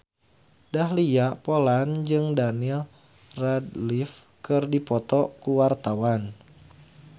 Dahlia Poland jeung Daniel Radcliffe keur dipoto ku wartawan